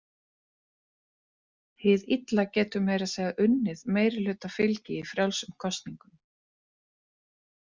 Hið illa getur meira að segja unnið meirihlutafylgi í frjálsum kosningum.